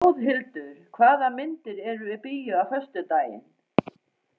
Þjóðhildur, hvaða myndir eru í bíó á föstudaginn?